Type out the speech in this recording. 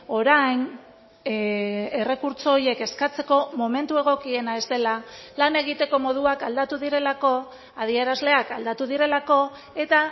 orain errekurtso horiek eskatzeko momentu egokiena ez dela lan egiteko moduak aldatu direlako adierazleak aldatu direlako eta